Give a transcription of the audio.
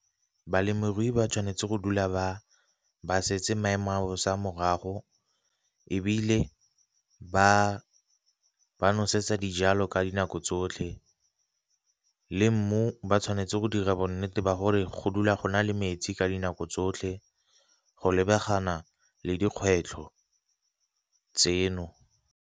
Balemirui ba tshwanetse go dula ba setse maemo a bosa morago, ebile ba nosetsa dijalo ka dinako tsotlhe le mmu ba tshwanetse go dira bonnete ba gore go dula go na le metsi ka dinako tsotlhe, go lebagana le dikgwetlho tseno.